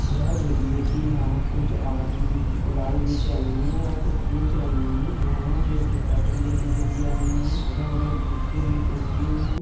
यह देखिये की यहाँ कुछ आदमी ग़ुलाल बेच रहे हैं या कुछ बेच रही हैं | यहाँ जैसे आदमी लेने के लिए आये हैं इदर-उदर बिचने के लिए हैं ।